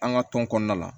An ka tɔn kɔnɔna la